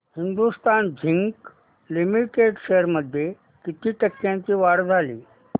Hindustan Zinc Limited shares मध्ये किती टक्क्यांची वाढ झाली